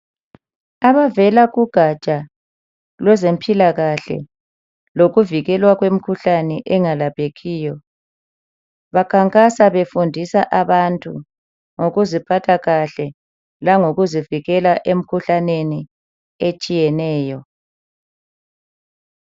Abavela kugatsha lwezempilakahle lokuvikelwa kwemkhuhlane engelaphekiyo bakhankasa befundisa abantu ngokuziphatha kahle langokuzivikela emikhuhlaneni etshiyeneyo.